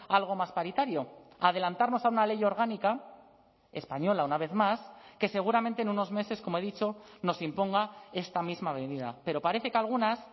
algo más paritario adelantarnos a una ley orgánica española una vez más que seguramente en unos meses como he dicho nos imponga esta misma medida pero parece que algunas